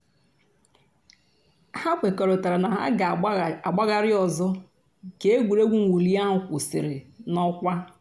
hà kwèkọ̀rìtàrā nà hà gà-àgbàghàrì òzò̩ kà ègwè́régwụ̀ mwụ̀lì àhụ̀ kwụsìrì n'ọkwà.